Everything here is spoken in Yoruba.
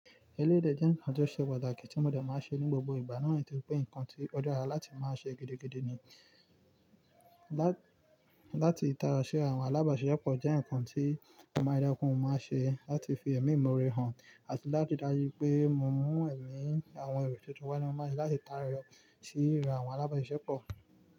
Eléyìí dẹ̀ jẹ́ ǹkan tó ṣe pàtàkì tí mo dẹ̀ máa ń ṣe ní gbogbo ìgbà náà, torí pé ǹkan tí ó dára láti máa ṣe gidigidi ni. Láti tàyọ síra àwọn alábàáṣiṣẹ́pọ̀ jẹ́ ǹkan tí mo máa ń rí dájú pé mo máa ń ṣe láti fi ẹ̀mí ìmore hàn àti láti dájú pé mo mú ẹ̀mí àwọn èrò tuntun wá ni mo máa ṣe láti tàyọ síra àwọn alábàáṣepọ̀.